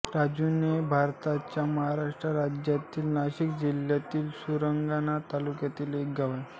रांजुणे हे भारताच्या महाराष्ट्र राज्यातील नाशिक जिल्ह्यातील सुरगाणा तालुक्यातील एक गाव आहे